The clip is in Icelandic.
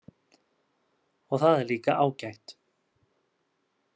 Og það er líka ágætt